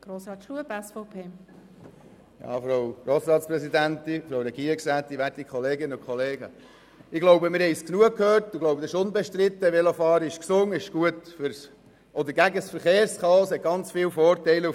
Ich glaube, wir haben es genau gehört, und es ist unbestritten, dass Velofahren gesund ist, gut gegen das Verkehrschaos ist und ganz viele Vorteile hat.